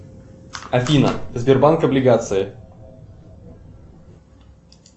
афина сбербанк облигации